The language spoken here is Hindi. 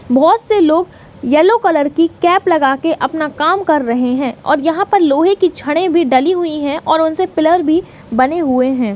बहुत से लोग यल्लो कलर की केप लगा कर अपना काम कर रहे है और यहाँ पर लोहे की छडे भी डाली हुयी है और उनसे पिअर भी बने हुए है।